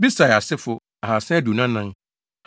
Besai asefo 2 324 1